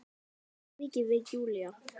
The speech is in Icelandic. Svo mikið veit Júlía.